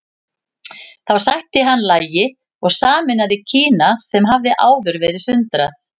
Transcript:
Þá sætti hann lagi og sameinaði Kína sem hafði áður verið sundrað.